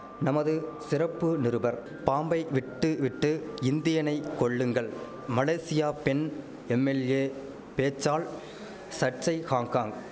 நமது சிறப்பு நிருபர் பாம்பை விட்டு விட்டு இந்தியனை கொல்லுங்கள் மலேசியா பெண் எம்எல்ஏ பேச்சால் சர்ச்சை ஹாங்காங்